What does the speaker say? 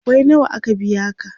kwabbai nawa aka biya ka?